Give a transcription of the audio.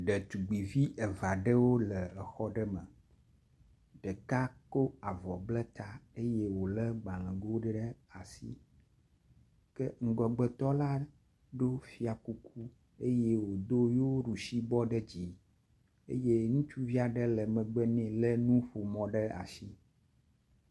Ɖetugbi eve aɖewo le exɔ aɖe me. Ɖeka ko avɔ ble ta eye wo le gbalego ɖe asi ke ŋgɔgbetɔla ɖo fia kuku eye wodo yo ɖusi bɔ ɖe dzi eye ŋutsuvi aɖe le megbe nɛ do yo ɖusibɔ ɖe asi.